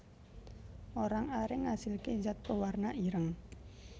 Orang aring ngasilké zat pewarna ireng